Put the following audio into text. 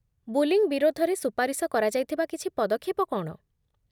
Bullying' ବିରୋଧରେ ସୁପାରିଶ କରାଯାଇଥିବା କିଛି ପଦକ୍ଷେପ କ'ଣ?